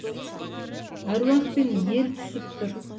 әруақ пен ел түсіп тұр